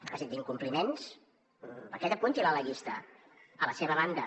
és a dir d’incompliments aquest apunti’l a la llista a la seva banda